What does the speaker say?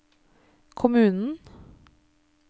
kommunen